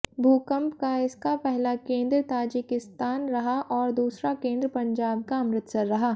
भूकंप का इसका पहला केंद्र ताजिकिस्तान रहा और दूसरा केंद्र पंजाब का अमृतसर रहा